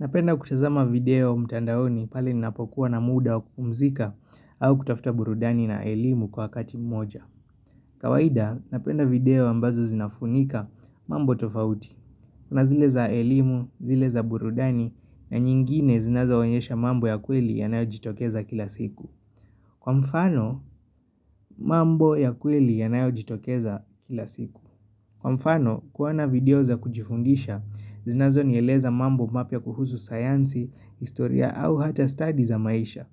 Ninapenda kutazama video mtandaoni pale ni napokuwa na muda wa kupumzika au kutafuta burudani na elimu kwa kati moja. Kawaida, napenda video ambazo zinafunika mambo tofauti. Kuna zile za elimu, zile za burudani, na nyingine zinazo onyesha mambo ya kweli yanayo jitokeza kila siku. Kwa mfano, mambo ya kweli yanayo jitokeza kila siku. Kwa mfano, kuona video za kujifundisha, zinazo nieleza mambo mapya kuhusu sayansi, historia au hata study za maisha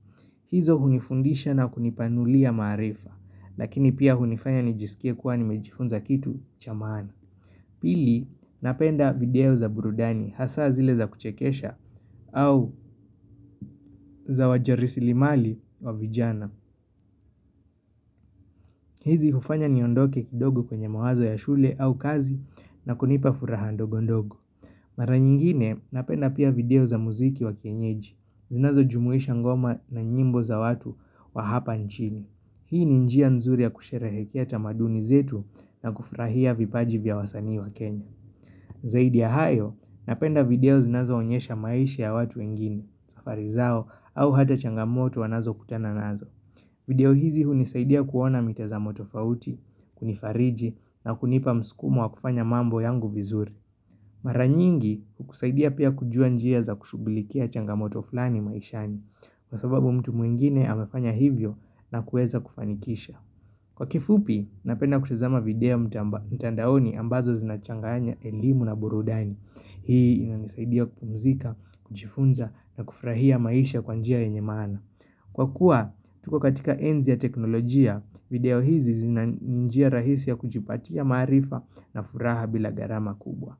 hizo hunifundisha na kunipanulia maarifa, lakini pia hunifanya nijisikie kuwa ni mejifunza kitu chamaana Pili, napenda video za burudani, hasa zile za kuchekesha au za wajasiriamali wa vijana hizi hufanya niondoke kidogo kwenye mawazo ya shule au kazi na kunipa furaha ndogo ndogo Mara nyingine ninapenda pia video za muziki wa kienyeji, zinazo jumuisha ngoma na nyimbo za watu wa hapa nchini Hii ninjia nzuri ya kusherehekea tamaduni zetu na kufurahia vipaji vya wasanii wa kenya Zaidi ya hayo, napenda video zinazo onyesha maisha ya watu wengini, safari zao au hata changamoto wanazo kutana nazo video hizi hunisaidia kuona mitazamo tofauti, kunifariji na kunipa msukumo wa kufanya mambo yangu vizuri Mara nyingi hukusaidia pia kujua njia za kushughulikia changamoto fulani maishani kwasababu mtu mwingine amefanya hivyo na kuweza kufanikisha Kwa kifupi ninapenda kutazama video mtandaoni ambazo zinachanganya elimu na burudani Hii inanisaidia kupumzika, kujifunza na kufurahia maisha kwanjia yenye maana Kwa kuwa, tuko katika enzi ya teknolojia, video hizi zinanjia rahisi ya kujipatia maarifa na furaha bila gharama kubwa.